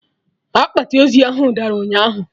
Akpati ozu dara ụnyaahụ!